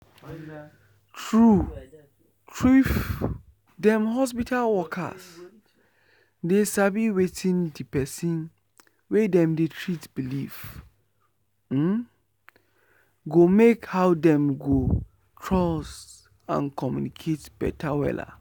true trueif dem hospital worker dey sabi wetin de pesin wey dem dey treat believee um go make how dem go trust and communicate beta wella.